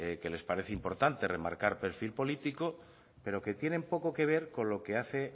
que les parece importante remarcar perfil político pero que tienen poco que ver con lo que hace